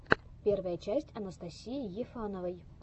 первая часть анастасии ефановой